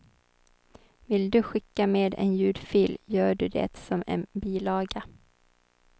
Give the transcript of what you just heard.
Vill du skicka med en ljudfil gör du det som en bilaga.